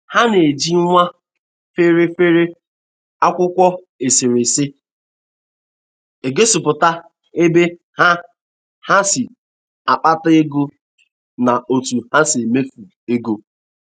Ha na-eji nwa feri feri akwụkwọ eserese egosịpụta ebe ha ha si akpata ego na otu ha si emefu ego